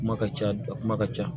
Kuma ka ca a kuma ka ca